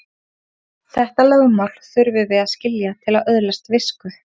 Þetta lögmál þurfum við að skilja til að öðlast visku.